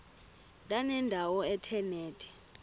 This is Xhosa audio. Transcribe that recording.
ndanendawo ethe nethe